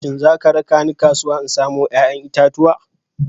Shin za ka raka ni kasuwa in samo 'ya'yan itatuwa?